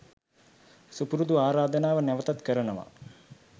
සුපුරුදු ආරාධනාව නැවතත් කරනවා